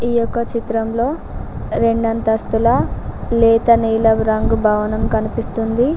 ఈ యొక్క చిత్రంలో రెండు అంతస్తుల లేత నీలవు రంగు భవనం కనిపిస్తుంది.